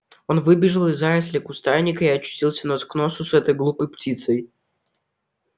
он выбежал из зарослей кустарника и очутился нос к носу с этой глупой птицей